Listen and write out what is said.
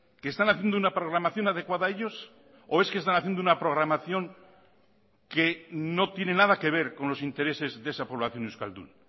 que están haciendo una programación adecuada a ellos o es que están haciendo una programación que no tiene nada que ver con los intereses de esa población euskaldun